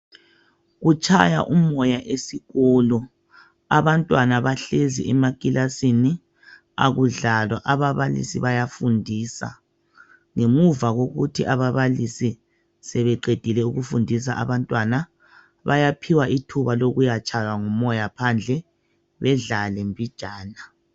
Kutshaya umoya esikolo abantwana bahlezi emakilasini akudlalwa ababalisi bayafundisa ngemuva kokuthi ababalisi sebeqedile ukufundisa abantwana bayaphiwa ithuba lokuya tshaywa ngumoya phandle bedlale mbijana.